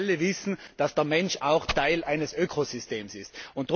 Wir alle wissen, dass der Mensch auch Teil eines Ökosystems ist.